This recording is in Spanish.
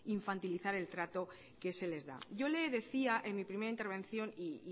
infantilizar el trato que se les da yo le decía en mi primera intervención y